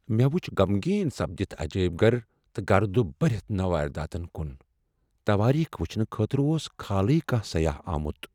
مےٚ وٕچھ غمغین سپدِتھ عجٲیب گھر تہٕ گرد بٔرتھ نوٲدِراتن كٗن ۔ توٲریخ وٕٗچھنہٕ خٲطرٕ اوس کھالٕے کانٛہہ سیاح آمت۔